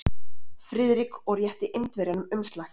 Friðrik og rétti Indverjanum umslag.